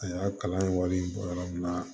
A y'a kalan wari bɔ yɔrɔ min na